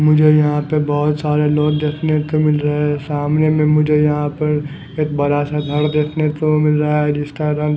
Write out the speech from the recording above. मुझे यहाँ पे बोहोत सारे लोग देखने को मिल रहे है सामने में मुझे यहा पर एक बड़ा सा घर देखने को मिल रहा है जिसका रंग--